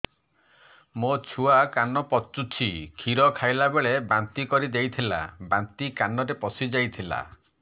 ମୋ ଛୁଆ କାନ ପଚୁଛି କ୍ଷୀର ଖାଇଲାବେଳେ ବାନ୍ତି କରି ଦେଇଥିଲା ବାନ୍ତି କାନରେ ପଶିଯାଇ ଥିଲା